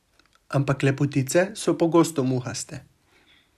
Ampak lepotice so pogosto muhaste.